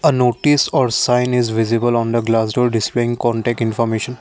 notice are sign is visible on the glass door displaying contact information.